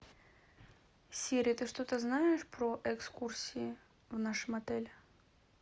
сири ты что то знаешь про экскурсии в нашем отеле